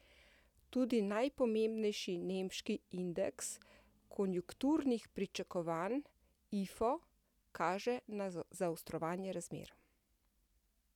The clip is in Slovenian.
Tudi najpomembnejši nemški indeks konjunkturnih pričakovanj Ifo kaže na zaostrovanje razmer.